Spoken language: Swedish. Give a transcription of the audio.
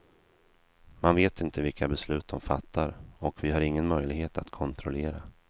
Man vet inte vilka beslut de fattar, och vi har ingen möjlighet att kontrollera.